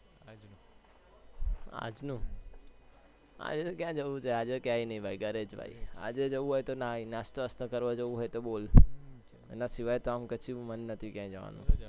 આજનું આજે ક્યાં જવું છે આજે તો ક્યાં નઈ જવાનું ઘરેજ આજે જવું હોય તો નાસ્તો વાસ્તો કરવા જવું હોય તો બોલ એના શિવાય કૈસે મન નથી જવાનું